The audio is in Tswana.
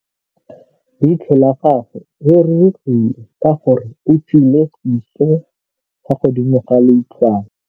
Leitlhô la gagwe le rurugile ka gore o tswile sisô fa godimo ga leitlhwana.